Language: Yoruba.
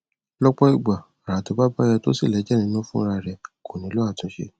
lọpọ ìgbà ara tó bá bá yó tó sì lẹjẹ nínú fún ra rẹ kò nílò àtúnṣe